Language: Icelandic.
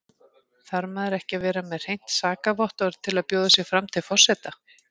Þarf maður ekki að vera með hreint sakavottorð til að bjóða sig fram til forseta?